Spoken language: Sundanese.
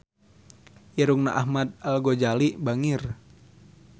Irungna Ahmad Al-Ghazali bangir